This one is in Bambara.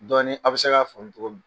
Dɔɔnin a bɛ se k'a famu cogo min.